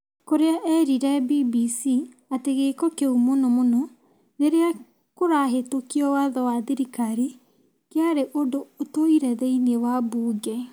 Kuria erire BBC atĩ gĩko kĩũ mũno mũno rĩrĩa kũrahĩtũkio watho wa thirikari kĩarĩ ũndũ ũtũire thĩinĩ wa mbunge.